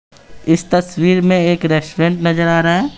इस तस्वीर में एक रेस्टोरेंट नजर आ रहा है।